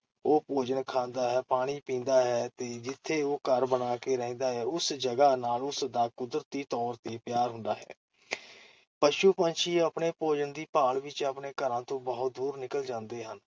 ਉਹ ਭੋਜਨ ਖਾਂਦਾ ਤੇ ਪਾਣੀ ਪੀਂਦਾ ਹੈ ਤੇ ਜਿੱਥੇ ਉਹ ਘਰ ਬਣਾ ਕੇ ਰਹਿੰਦਾ ਹੈ, ਉਸ ਜਗਾ ਨਾਲ ਉਸ ਦਾ ਕੁਦਰਤੀ ਤੌਰ ਤੇ ਪਿਆਰ ਹੁੰਦਾ ਹੈ । ਪਸ਼ੂ-ਪੰਛੀ ਆਪਣੇ ਭੋਜਨ ਦੀ ਭਾਲ ਵਿਚ ਆਪਣੇ ਘਰਾਂ ਤੋਂ ਬਹੁਤ ਦੂਰ ਨਿਕਲ ਜਾਂਦੇ ਹਨ,